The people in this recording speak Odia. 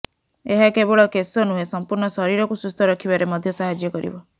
ଏହା କେବଳ କେଶ ନୁହେଁ ସମ୍ପୂର୍ଣ୍ଣ ଶରୀରକୁ ସୁସ୍ଥ ରଖିବାରେ ମଧ୍ୟସାହାଯ୍ୟ କରିବ